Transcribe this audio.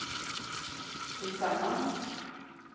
tillsammans